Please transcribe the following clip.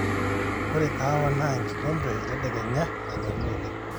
ore kahawa naa enkikompe etedekenya nanyorri oleng